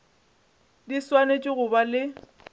di swanetše go ba le